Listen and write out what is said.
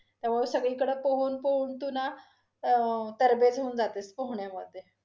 त्यामुळे सगळीकडे पोहून, पोहून तू ना अं तरबेज होऊन जातेस पोहण्यामधे.